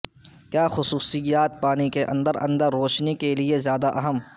کیا خصوصیات پانی کے اندر اندر روشنی کے لئے زیادہ اہم